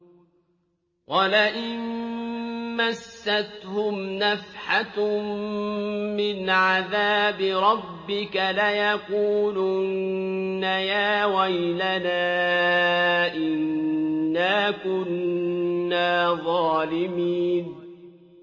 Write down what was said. وَلَئِن مَّسَّتْهُمْ نَفْحَةٌ مِّنْ عَذَابِ رَبِّكَ لَيَقُولُنَّ يَا وَيْلَنَا إِنَّا كُنَّا ظَالِمِينَ